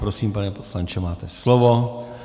Prosím, pane poslanče, máte slovo.